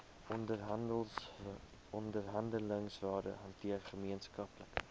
onderhandelingsrade hanteer gemeenskaplike